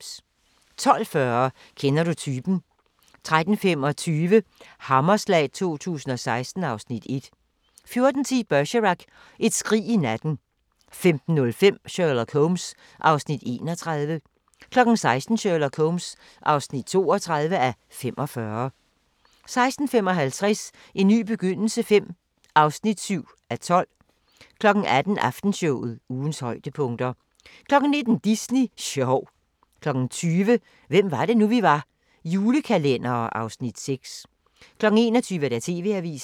12:40: Kender du typen? 13:25: Hammerslag 2016 (Afs. 1) 14:10: Bergerac: Et skrig i natten 15:05: Sherlock Holmes (31:45) 16:00: Sherlock Holmes (32:45) 16:55: En ny begyndelse V (7:12) 18:00: Aftenshowet – ugens højdepunkter 19:00: Disney sjov 20:00: Hvem var det nu, vi var: Julekalendere (Afs. 6) 21:00: TV-avisen